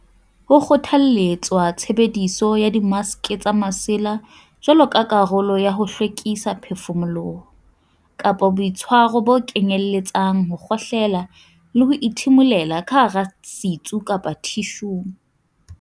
Ho kgothaletswa tshebediso ya dimaske tsa masela jwalo ka karolo ya ho hlwekisa phefumoloho kapa boitshwaro bo kenyeletsang ho kgohlela le ho ithimulela ka hara setsu kapa thishung.